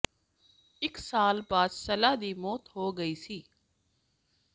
ਇਕ ਸਾਲ ਬਾਅਦ ਸੱਲਾ ਦੀ ਮੌਤ ਹੋ ਗਈ ਸੀ